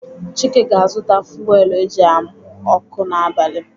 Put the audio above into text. Chike ga-azụta fuwelu eji amụ ọkụ n'abali.